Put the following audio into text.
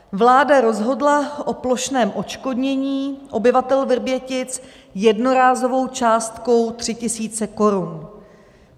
Vláda rozhodla o plošném odškodnění obyvatel Vrbětic jednorázovou částkou 3 000 korun.